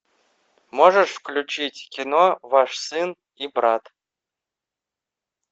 можешь включить кино ваш сын и брат